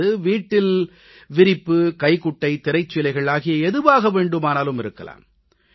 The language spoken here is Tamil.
அது வீட்டில் விரிப்பு கைக்குட்டை திரைச்சீலைகள் ஆகிய எதுவாகவும் இருக்கலாம்